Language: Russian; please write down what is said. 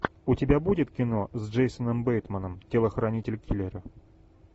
у тебя будет кино с джейсоном бейтманом телохранитель киллера